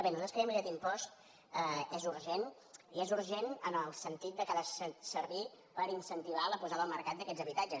bé nosaltres creiem que aquest impost és urgent i és urgent en el sentit que ha de servir per incentivar la posada al mercat d’aquests habitatges